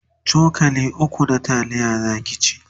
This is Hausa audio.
cokali ukwu na taliya Zaki ci